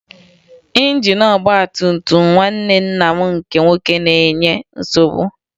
Injin ọgbatumtum nwanne nna m nke nwoke na-enye nsogbu m